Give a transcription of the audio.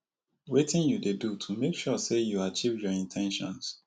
wetin you dey do to make sure say you achieve your in ten tions